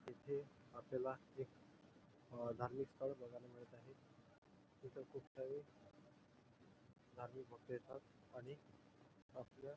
तिथे आपल्याला एक धार्मिक स्थळ बघायला मिळत आहे तिथं खूप काही धार्मिक भक्त येतात आणि आपल्या--